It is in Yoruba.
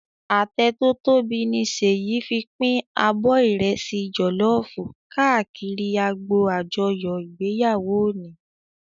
Atẹ tò tóbi ni Seyi fin pin ábò ìrẹsì jòlòfú kàákìrí ágbó ájòyò igbéyáwó óni